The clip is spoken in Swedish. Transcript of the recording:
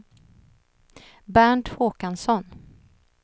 Bernt Håkansson